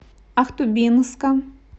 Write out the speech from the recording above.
ахтубинска